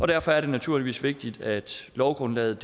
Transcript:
derfor er det naturligvis vigtigt at lovgrundlaget